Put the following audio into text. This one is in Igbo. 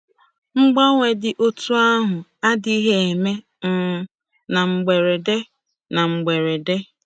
Mgbanwe dị otú ahụ adịghị eme um na mberede. na mberede.